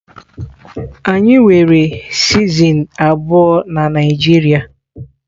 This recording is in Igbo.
Anyi nwere sizen abuọ na Naijiria.